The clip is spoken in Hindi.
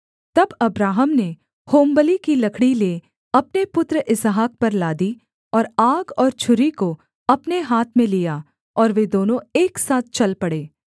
तब अब्राहम ने होमबलि की लकड़ी ले अपने पुत्र इसहाक पर लादी और आग और छुरी को अपने हाथ में लिया और वे दोनों एक साथ चल पड़े